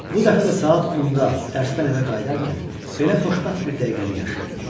Bu dəfə də saat 10-da dərsdən evə qayıdarkən belə xoşbəxt bir dəqiqəni yaşayırdım.